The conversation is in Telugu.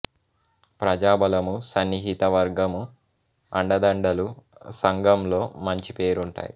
ప్రజాబలము సన్నిహిత వర్గము అండదండలు సంఘంలో మంచి పేరు ఉంటాయి